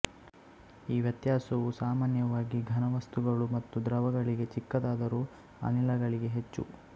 ಈ ವ್ಯತ್ಯಾಸವು ಸಾಮಾನ್ಯವಾಗಿ ಘನವಸ್ತುಗಳು ಮತ್ತು ದ್ರವಗಳಿಗೆ ಚಿಕ್ಕದಾದರೂ ಅನಿಲಗಳಿಗೆ ಹೆಚ್ಚು